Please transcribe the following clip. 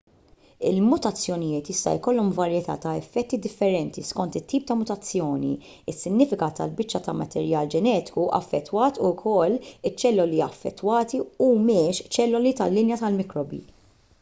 il-mutazzjonijiet jista' jkollhom varjetà ta' effetti differenti skont it-tip ta' mutazzjoni is-sinifikat tal-biċċa ta' materjal ġenetiku affettwat u jekk iċ-ċelloli affettwati humiex ċelloli tal-linja tal-mikrobi